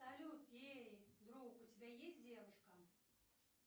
салют эй друг у тебя есть девушка